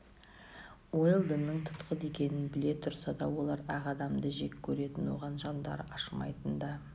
уэлдонның тұтқын екенін біле тұрса да олар ақ адамды жек көретін оған жандары ашымайтын да